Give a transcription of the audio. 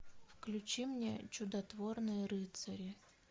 включи мне чудотворные рыцари